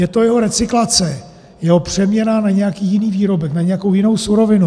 je to jeho recyklace, jeho přeměna na nějaký jiný výrobek, na nějakou jinou surovinu;